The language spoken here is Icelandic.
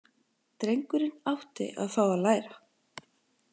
Drengurinn átti að fá að læra.